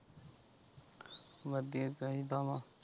ਵਧੀਆ ਚਾਹੀਦਾ ਵਾ।